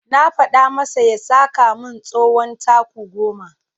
Na faɗa masa ya saka min tsawon taku goma.